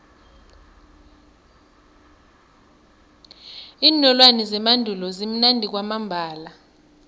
iinolwana zemandulo zimnandi kwamambala